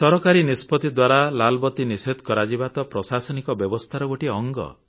ସରକାରୀ ନିଷ୍ପତି ଦ୍ୱାରା ଲାଲବତୀ ନିଷେଧ କରାଯିବା ତ ପ୍ରଶାସନିକ ବ୍ୟବସ୍ଥାର ଗୋଟିଏ ଅଙ୍ଗ